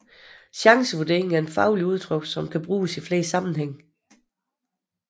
Chancevurdering er et fagudtryk som kan bruges i flere sammenhæng